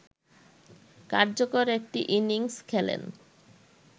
কার্যকর একটি ইনিংস খেলেন